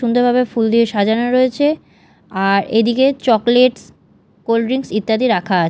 সুন্দরভাবে ফুল দিয়ে সাজানো রয়েছে আর এদিকে চকলেটস কোল্ড ড্রিংকস ইত্যাদি রাখা।